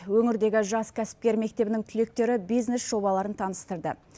өңірдегі жас кәсіпкер мектебінің түлектері бизнес жобаларын таныстырды